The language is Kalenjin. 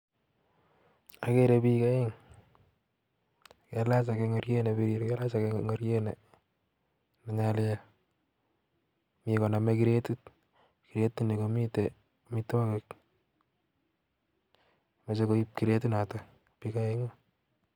Akere biik aeng kailach akee ingoriet nee birir ak ake kailaach ingoriet nee nyalil Mii konome kiretit ,kiretit nii komitei amitwokik meche koib kiretit netok biik aeng'u